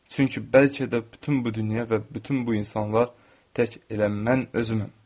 Çünki bəlkə də bütün bu dünya və bütün bu insanlar tək elə mən özüməm.